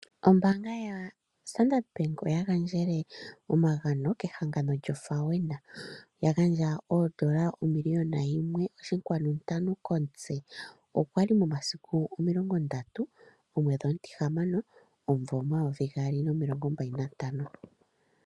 Ombaanga ya Standard bank, oya gandjele omagano kehangano lyoFAWENA . Ya gandja oondola omiliyona yimwe oshinkwanu ntano komutse . Okwali momasiku omilongo ndatu omwedhi omutihamano omumvo omayovi gaali nomilongo mbali nantano.